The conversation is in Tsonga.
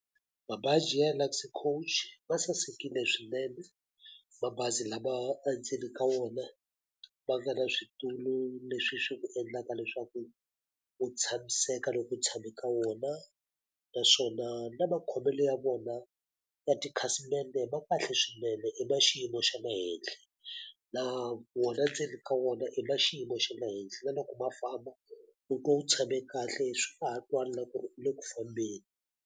Mabaji ya Luxy Coach ma sasekile swinene. Mabazi lama endzeni ka wona ma nga na switulu leswi swi ku endlaka leswaku u tshamiseka loko u tshame ka wona. Naswona na makhomelo ya vona ya tikhasimende ma kahle swinene, i ma xiyimo xa le henhla. Laha wona ndzeni ka wona i ma xiyimo xa le henhla. Na loko ma famba u twa u tshame kahle swi nga ha twali na ku ri u le ku fambeni.